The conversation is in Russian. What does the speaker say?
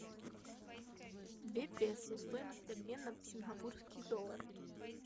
две песо стоимость обмена в сингапурские доллары